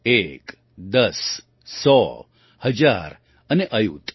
એક દસ સો હજાર અને અયુત